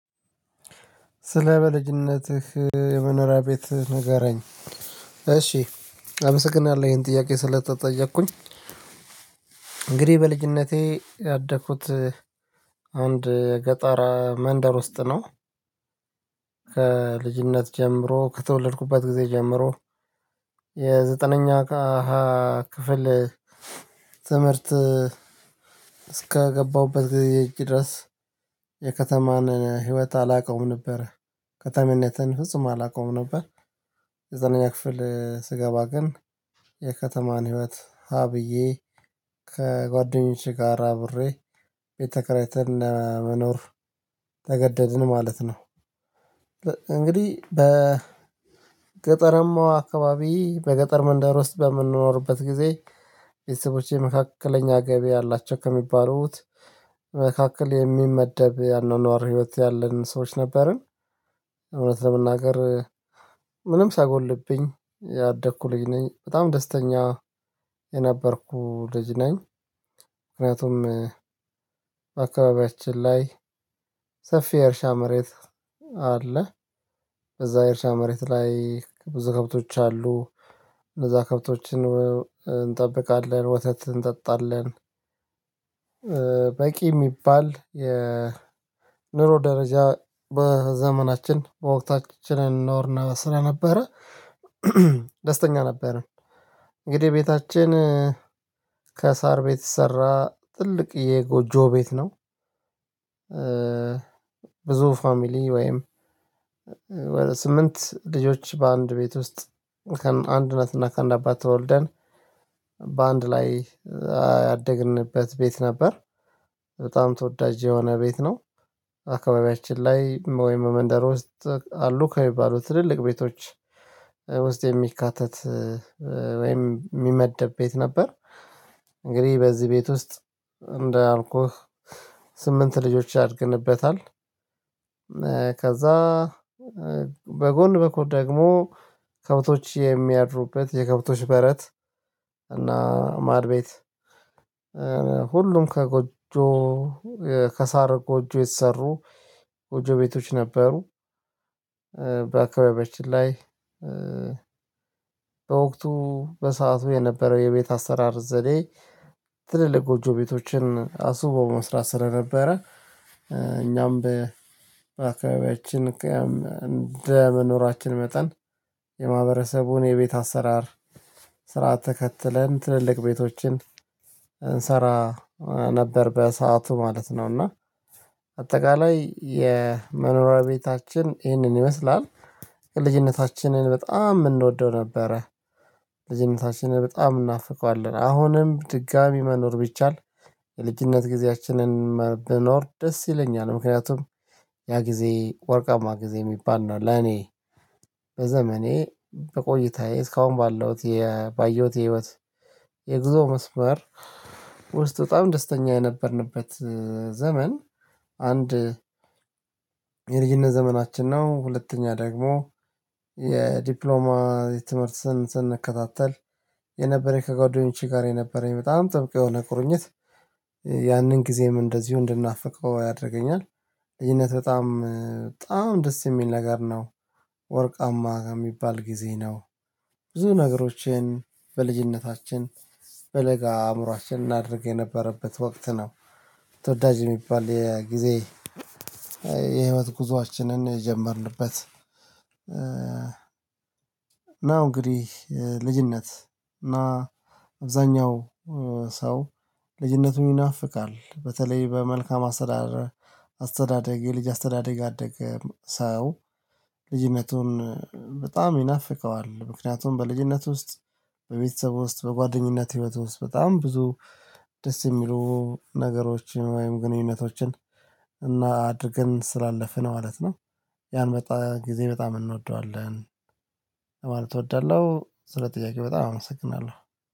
ስለ በልጅነትህ የመኖሪያ ቤት ንገረኝ። እሺ፣ አምሰግናለሁ ይሄን ጥያቄ ስለተጠየቅኩኝ። እንግዲህ በልጅነቴ ያደኩት አንድ ገጣር መንደር ውስጥ ነው። ከልጅነት ጀምሮ፣ ከተውልድኩባት ጊዜ ጀምሮ የዘጠነኛ አሃ ክፍል ትምህርት እስከገባሁበት ጊዜ ድረስ የከተማን ህይወት አላውቀውም ነበር። ከተመነትን ፍጹም አላውቀውም ነበር። የዘጠነኛ ክፍል ስገባ ግን የከተማን ህይወት ሀ ብዬ ከጓደኞቼ ጋር አብሬ ቤት ተከራይተን ለመኖር ተገደድን ማለት ነው። እንግዲህ በገጠራማዋ አካባቢ፣ በገጠር መንደር ውስጥ በምንኖርበት ጊዜ ቤተሰቦቼ መካከለኛ ገቢ ያላቸው ከሚባሉት መካከል የሚመደብ የአኗኗር ህይወት ያለን ሰዎች ነበርን። እውነት ለመናገር ምንም ሳይጎልብኝ ያደኩ ልጅ ነኝ። በጣም ደስተኛ የነበርኩ ልጅ ነኝ። ምክንያቱም በአካባቢያችን ላይ ሰፊ የእርሻ መሬት አለ። እዛ የእርሻ መሬት ላይ ብዙ ከብቶች አሉ። እነዛ ከብቶችን እንጠብቃለን፣ ወተት እንጠጣለን። በቂ የሚባል የኑሮ ደረጃ በዘመናችን፣ በወቅታችን እንኖር ስለነበረ ደስተኛ ነበረን። እንግዲህ ቤታችን ከሳር ቤት የተሰራ ትልቅ የጎጆ ቤት ነው። ብዙ ፋሚሊ ወይም ወደ ስምንት ልጆች በአንድ ቤት ውስጥ ከአንድ እና ከአንድ አባት ተወልደን በአንድ ላይ ያደግንበት ቤት ነበር። በጣም ተወዳጅ የሆነ ቤት ነው። አካባቢያችን ላይ ወይም መንደር ውስጥ አሉ ከሚባሉት ትልልቅ ቤቶች ውስጥ የሚካተት ወይም የሚመደብ ቤት ነበር። እንግዲህ በዚህ ቤት ውስጥ እንዳልኩህ ስምንት ልጆች አድገንበታል። ከዛ በጎን በኩል ደግሞ ከብቶች የሚያድሩበት የከብቶች በረት እና ማድ ቤት ከጎጆ፣ ከሳር ጎጆ የተሰሩ ጎጆ ቤቶች ነበሩ። በአካባቢዎች ላይ በወቅቱ በሰአቱ የነበረው የቤት አሰራር ዘዴ ትልልቅ ጎጆ ቤቶችን አስውቦ መስራት ስለነበረ እኛም በአካባቢያችን እንደ መኖራችን መጠን የማህበረሰቡን የቤት አሰራር ስርዓት ተከትለን ትልልቅ ቤቶችን እንሰራ ነበር በሰአቱ ማለት ነው እና አጠቃላይ የመኖሪያ ቤታችን ይህንን ይመስላል። ልጅነታችንን በጣም እንወደው ነበረ። ልጅነታችንን በጣም እናፍቀዋለን። አሁንም ድጋሚ መኖር ቢቻል የልጅነት ጊዜያችንን ብኖር ደስ ይለኛል። ምክንያቱም ያ ጊዜ ወርቃማ ጊዜ የሚባል ነው ለኔ። በዘመኔ፣ በቆይታዬ፣ እስካሁን ባለሁት፣ ባየሁት የህይወት የግዞ መስመር ውስጥ በጣም ደስተኛ የነበርንበት ዘመን አንድ የልጅነት ዘመናችን ነው። ሁለተኛ ደግሞ የዲፕሎማ የትምህርት ስን፣ ስንከታተል የነበረ ከጓደኞቼ ጋር የነበረኝ በጣም ጥብቅ የሆነ ቁርኝት ያንን ጊዜም እንደዚሁ እንድናፍቀው ያደርገኛል። ልጅነት በጣም፣ በጣም ደስ የሚል ነገር ነው። ወርቃማ ከሚባል ጊዜ ነው። ብዙ ነገሮችን በልጅነታችን፣ በለጋ አእምሮአችን እናድርግ የነበረበት ወቅት ነው። ተወዳጅ የሚባል የጊዜ፣ የህይወት ጉዞአችንን የጀመርንበት፣ ነው እንግዲህ ልጅነት፣ እና አብዛኛው ሰው ልጅነቱን ይናፍቃል። በተለይ በመልካም አስተዳደር፣ አስተዳደግ፣ የልጅ አስተዳደግ አደገ ሰው ልጅነቱን በጣም ይናፍቀዋል። ምክንያቱም በልጅነት ውስጥ በቤተሰብ ውስጥ፣ በጓደኝነት ህይወት ውስጥ በጣም ብዙ ደስ የሚሉ ነገሮችን ወይም ግንኙነቶችን እና አድርገን ስላለፍነው ማለት ነው በጣም፣ ጊዜ በጣም እንወደዋለን። ለማለት እወዳለሁ፣ ስለ ጥያቄ በጣም አመሰግናለሁ።